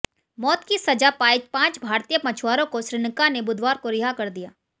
मौत की सजा पाए पांच भारतीय मछुआरों को श्रीलंका ने बुधवार को रिहा कर दिया